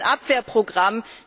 das ist ein Abwehrprogramm.